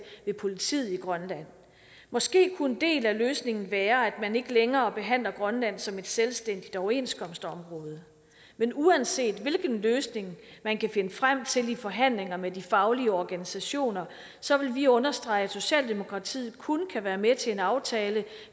ved politiet i grønland måske kunne en del af løsningen være at man ikke længere behandler grønland som et selvstændigt overenskomstområde men uanset hvilke løsninger man kan finde frem til i forhandlinger med de faglige organisationer så vil vi understrege at socialdemokratiet kun kan være med til en aftale